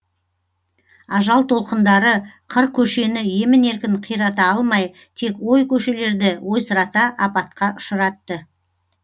ажал толқындары қыр көшені емін еркін қирата алмай тек ой көшелерді ойсырата апатқа ұшыратты